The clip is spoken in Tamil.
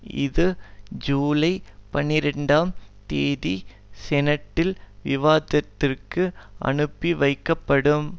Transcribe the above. இது ஜூலை பனிரெண்டாம் தேதி செனட்டில் விவாதத்திற்கு அனுப்பி வைக்கப்படும்